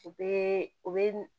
U bɛɛ u bɛ